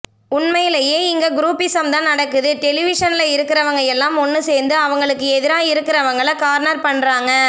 உண்மைலயே இங்க குரூப்பிஸம் தான் நடக்குது டெலிவிஷன்ல இருக்கிறவங்க எல்லாம் ஒன்னு சேர்ந்து அவங்களுக்கு எதிரா இருக்கிறவங்கள கார்னர் பண்றாங்க